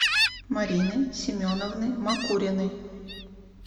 марины семеновны макуриной